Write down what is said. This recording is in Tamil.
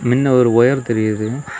மின்ன ஒரு ஒயர் தெரியிது.